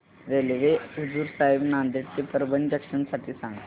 railway Hazur Sahib Nanded ते Parbhani junction साठी सांगा